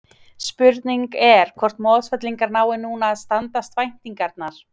Spurningin er hvort Mosfellingar nái núna að standast væntingarnar?